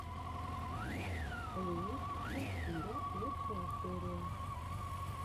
ленич энд киря лучшая серия